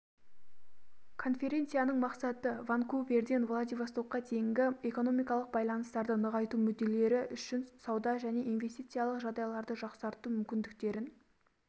конференцияның мақсаты ванкуверден владивостокқа дейінгі экономикалық байланыстарды нығайту мүдделері үшін сауда және инвестициялық жағдайларды жақсарту мүмкіндіктерін